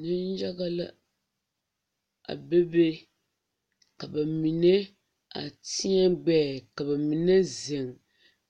Neŋyaga la a bebe ka ba mine a tēɛ gbɛɛ ka ba mine zeŋ